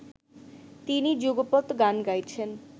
তিনি যুগপৎ গান গাইছেন